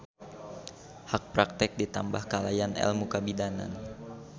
Hak praktek ditambah kalayan elmu kabidanan.